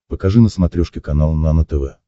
покажи на смотрешке канал нано тв